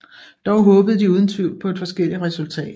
Dog håbede de uden tvivl på et forskelligt resultat